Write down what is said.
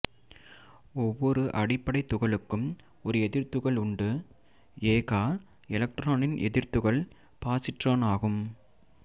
ஒவ்வொரு அடிப்படைத் துகளுக்கும் ஒரு எதிர்த்துகள் உண்டு எ கா எலக்ட்ரானின் எதிர்த்துகள் பாசிட்ரான் ஆகும்